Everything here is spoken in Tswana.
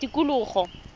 tikologo